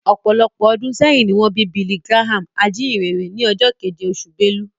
Ọ̀pọ̀lọpọ̀ ọdún sẹ́yìn ni wọ́n bí Billy Graham, ajínyìnrere, ní ọjọ́ keje, oṣù Belu